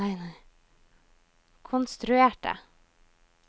konstruerte